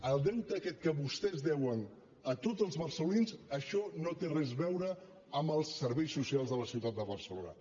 el deute aquest que vostès deuen a tots els barcelonins això no té res a veure amb els ser·veis socials de la ciutat de barcelona